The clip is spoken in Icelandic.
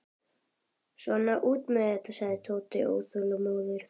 Svona, út með það, sagði Tóti óþolinmóður.